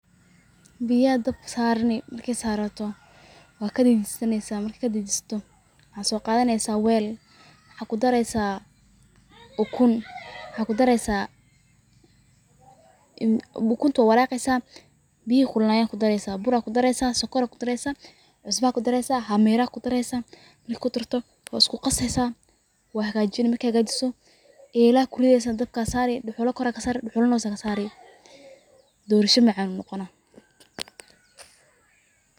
Biya dabka saraneysa, marka sarato wad kadeejisaneysa, markid kadeejisato maxa soo qadaneysa wel, maxa kudareysa ukun, ukunta wad walaqeysa biyihii kululaayen ad kudareeysa, burad kudareeysa sokora kudareeysa, cusbad kudareeysa hamira kudareeysa, marki kudarto wad isku qaseysaa, wad hagajini, markii hagajiso elaad kurideysa, dabkad saari, dhuxulad kor kasaari dhuxula na hosad kasaari, dhorsha macaan uu noqana